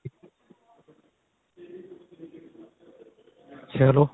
ਚਲੋ